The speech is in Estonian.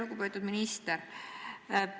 Lugupeetud minister!